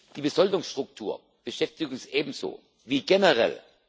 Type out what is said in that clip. Die Besoldungsstruktur beschäftigt uns ebenso wie generell.